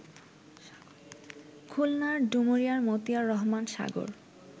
খুলনার ডুমুরিয়ার মতিয়ার রহমান সাগর